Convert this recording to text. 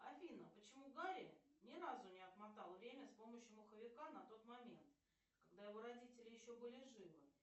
афина почему гарри ни разу не отмотал время с помощью моховика на тот момент когда его родители еще были живы